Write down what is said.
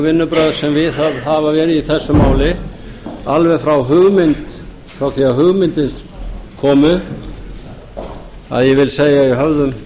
vinnubrögð sem viðhöfð hafa verið í þessu máli alveg frá því að hugmyndin kom upp að ég vil segja í höfðum